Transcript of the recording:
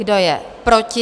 Kdo je proti?